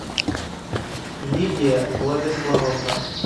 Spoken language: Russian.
лидия владиславовна